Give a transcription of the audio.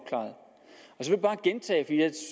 firs